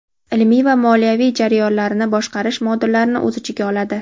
"Ilmiy" va "Moliyaviy" jarayonlarini boshqarish modullarini o‘z ichiga oladi.